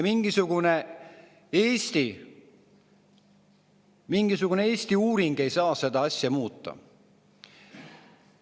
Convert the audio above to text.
Mingisugune Eesti uuring ei saa seda asja muuta.